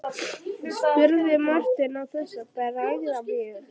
spurði Marteinn án þess að bregða mjög.